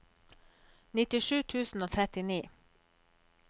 nittisju tusen og trettini